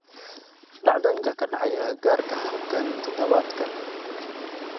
dhacdooyinka ka dhacaya agagaarka halkan todobaadkan